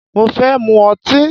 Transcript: Mo fẹ́ mu ọtí.